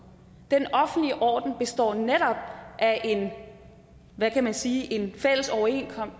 den offentlige orden består netop af en hvad kan man sige fælles overenskomst